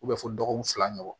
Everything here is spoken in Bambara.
fo dɔgɔkun fila ɲɔgɔn